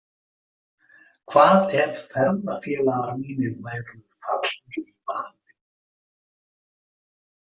Hvað ef ferðafélagar mínir væru fallnir í valinn?